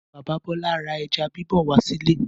Bàbá Bọ́lá ra ẹja bíbọ̀ wá sílé.